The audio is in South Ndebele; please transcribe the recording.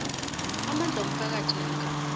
amandla womphakathi namkha